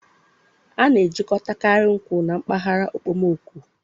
A na-ejikọtakarị nkwụ na mpaghara okpomọkụ